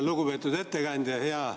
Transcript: Lugupeetud ettekandja!